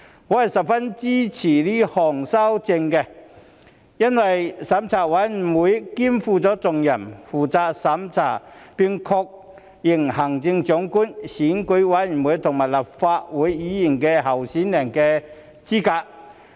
我十分支持該項修訂，因為資審會肩負重任，負責審查並確認行政長官、選舉委員會和立法會議員候選人的資格。